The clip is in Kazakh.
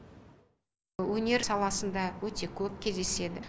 өнер саласында өте көп кездеседі